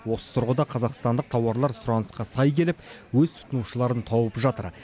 осы тұрғыда қазақстандық тауарлар сұранысқа сай келіп өз тұтынушыларын тауып жатыр